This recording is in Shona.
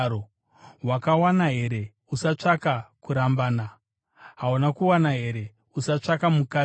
Wakawana here? Usatsvaka kurambana. Hauna kuwana here? Usatsvaka mukadzi.